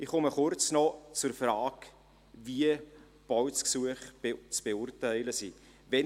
Ich komme kurz noch zur Frage, wie Baugesuche zu beurteilen sind: